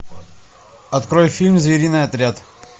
открой фильм звериный отряд